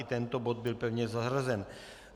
I tento bod byl pevně zařazen.